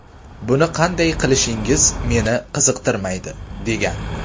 Buni qanday qilishingiz meni qiziqtirmaydi”, – degan.